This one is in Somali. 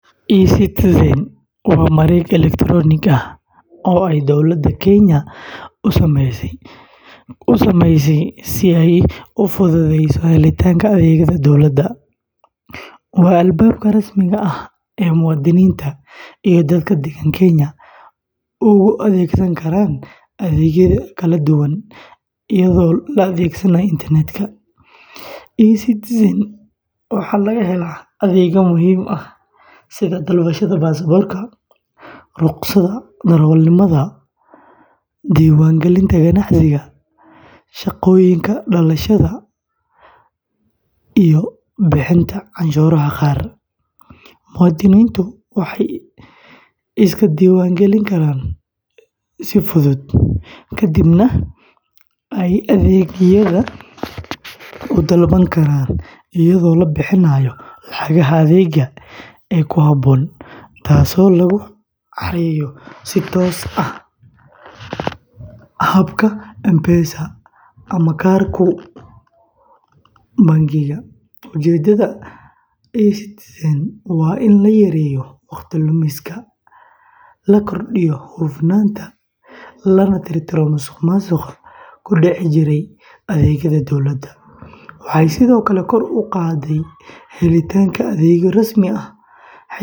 e-Citizen waa mareeg elektaroonik ah oo ay dowladda Kenya u sameysay si ay u fududeyso helitaanka adeegyada dowladda. Waa albaabka rasmiga ah ee muwaadiniinta iyo dadka deggen Kenya uga adeegsan karaan adeegyo kala duwan iyadoo la adeegsanayo internetka. e-Citizen waxaa laga helaa adeegyo muhiim ah sida dalbashada baasaboorka, rukhsadda darawalnimada, diiwaangelinta ganacsiga, shahaadooyinka dhalashada, iyo bixinta canshuuraha qaar. Muwaadiniintu waxay iska diiwaangelin karaan si fudud, ka dibna ay adeegyada u dalban karaan iyadoo la bixinayo lacagaha adeegga ee ku habboon, taasoo lagu xareeyo si toos ah habka M-Pesa ama kaarka bangiga. Ujeeddada e-Citizen waa in la yareeyo waqti lumiska, la kordhiyo hufnaanta, lana tirtiro musuqmaasuqa ku dhici jiray adeegyada dowladda. Waxay sidoo kale kor u qaadday helitaanka adeegyo rasmi ah.